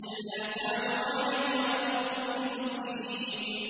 أَلَّا تَعْلُوا عَلَيَّ وَأْتُونِي مُسْلِمِينَ